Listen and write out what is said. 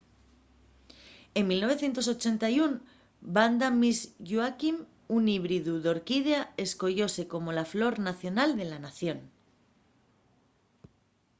en 1981 vanda miss joaquim un híbridu d’orquídea escoyóse como la flor nacional de la nación